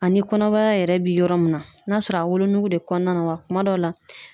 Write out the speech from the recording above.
Ani kɔnɔbara yɛrɛ bi yɔrɔ mun na, n'a sɔrɔ a bi wolonuku de kɔnɔna la wa kuma dɔw la